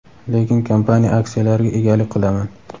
lekin kompaniya aksiyalariga egalik qilaman.